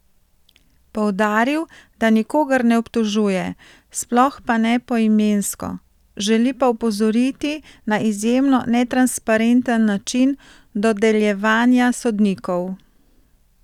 Poudaril, da nikogar ne obtožuje, sploh pa ne poimensko, želi pa opozoriti na izjemno netransparenten način dodeljevanja sodnikov.